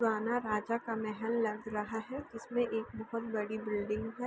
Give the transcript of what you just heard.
पुराना राजा का महल लग रहा है जिस में एक बहुत बड़ी बिल्डिंग है।